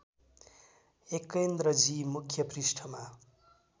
एकेन्द्रजी मुख्य पृष्ठमा